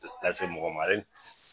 Taa se mɔgɔ